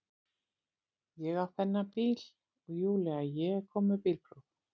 Ég á þennan bíl og Júlía ég er komin með bílpróf